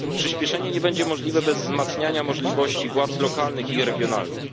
Przyśpieszenie nie będzie możliwe bez wzmacniania możliwości władz lokalnych i regionalnych.